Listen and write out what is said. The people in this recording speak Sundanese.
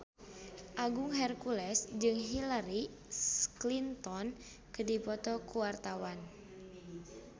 Agung Hercules jeung Hillary Clinton keur dipoto ku wartawan